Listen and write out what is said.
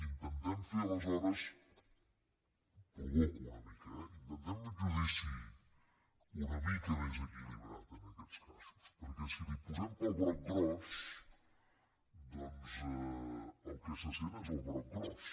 intentem fer aleshores provoco una mica eh un judici una mica més equilibrat en aquests casos perquè si li posem pel broc gros doncs el que se sent és el broc gros